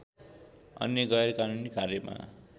अन्य गैरकानूनी कार्यमा